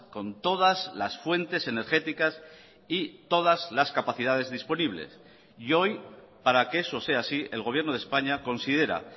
con todas las fuentes energéticas y todas las capacidades disponibles y hoy para que eso sea así el gobierno de españa considera